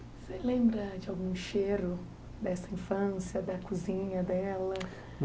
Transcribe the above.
Você lembra de algum cheiro dessa infância, da cozinha dela?